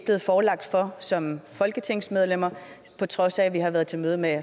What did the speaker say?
forelagt som folketingsmedlemmer på trods af at vi havde været til møde med